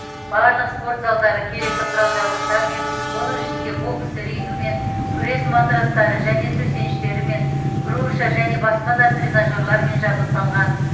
барлық спорт залдары керекті құрал жабдықтармен оның ішінде бокс рингімен күрес матрастары және төсеніштерімен груша және басқа да тренажерлармен жабдықталған